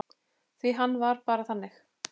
Því hann var bara þannig.